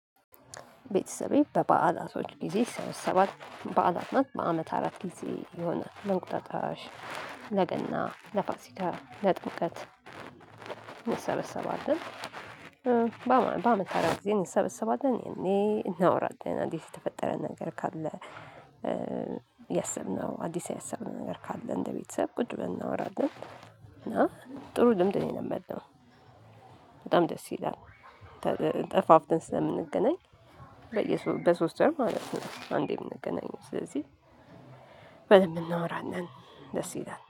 ቤተሰቤ በበዓላቶች ጊዜ ሰባት በዓላት ናት በአመት አራት ጊዜ የሆነ ለንቁጣጣሽ ለገና ለፋሲታ ለጥብቀት እንሰበሰባለን። በአመት በአመት አራት ጊዜ እኔን ሰበሰባት እኔን እናወራድድ እና እንዴት? የተፈጠረ ነገር ካለ። የሰብነው አዲስ ያሰብነው ነገር ካለ እንደ ቤተሰብ ቁጭ ብናወራለን። እና ጥሩ ልምድ ነው የለመደው። በጣም ደስ ይላል። ተጠፋፍተን ስለምንገናኝ። በሶስት አመት ነው አንዴም ነገናኝ ስለዚህ በደንብ እናወራን ነን። ደስ ይላል።